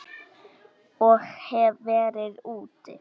Ég hef verið úti.